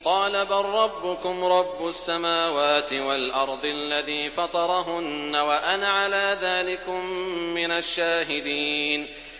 قَالَ بَل رَّبُّكُمْ رَبُّ السَّمَاوَاتِ وَالْأَرْضِ الَّذِي فَطَرَهُنَّ وَأَنَا عَلَىٰ ذَٰلِكُم مِّنَ الشَّاهِدِينَ